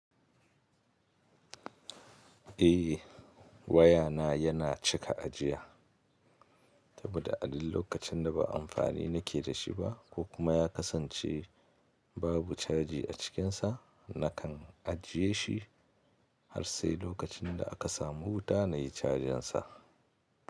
Eh waya na yana cika ajiya, saboda a duk lokacin da ba amfani nake da shi ba ko kuma ya kasance babu caji a cikinsa, nakan ajiye shi har sai lokacin da aka samu wuta na yi cajin sa.